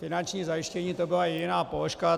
Finanční zajištění, to byla jediná položka.